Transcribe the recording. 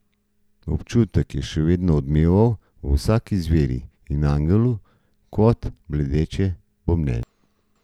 Občutek je še vedno odmeval v vsaki zveri in angelu kot bledeče bobnenje.